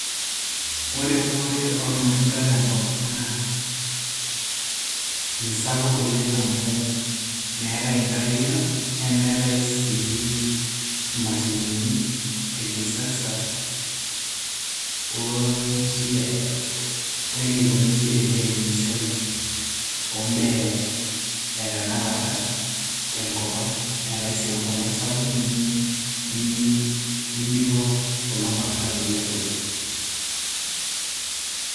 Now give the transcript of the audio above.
ore eunore ormatunda tenkop ang naa misapuk oleng amu meetay inkariak nemeetay sii imashinini e kisasa oo wenikoni sii teneremishoi ombaa e tenakata tenkop ang neetay sii enkolong sapuk nimi, nimiko kulo matunda peyie ebulu.